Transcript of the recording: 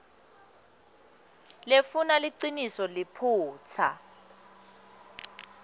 lefuna liciniso liphutsa